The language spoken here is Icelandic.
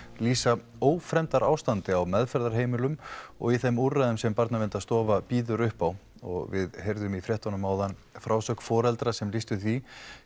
lýsa ófremdarástandi á meðferðarheimilum og þeim úrræðum sem Barnaverndarstofa býður upp á við heyrðum í fréttunum áðan frásögn foreldra sem lýstu því